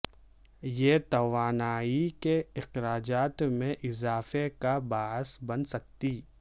یہ توانائی کے اخراجات میں اضافے کا باعث بن سکتی